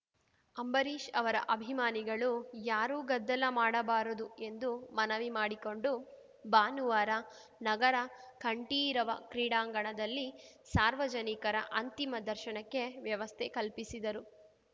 ಅಂಬರೀಷ್‌ ಅವರ ಅಭಿಮಾನಿಗಳು ಯಾರೂ ಗದ್ದಲ ಮಾಡಬಾರದು ಎಂದು ಮನವಿ ಮಾಡಿಕೊಂಡು ಭಾನುವಾರ ನಗರ ಕಂಠೀರವ ಕ್ರೀಡಾಂಗಣದಲ್ಲಿ ಸಾರ್ವಜನಿಕರ ಅಂತಿಮ ದರ್ಶನಕ್ಕೆ ವ್ಯವಸ್ಥೆ ಕಲ್ಪಿಸಿದರು